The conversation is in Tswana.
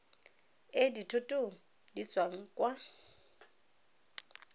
e dithoto di tswang kwa